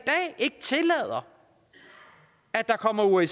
ikke tillader at der kommer osce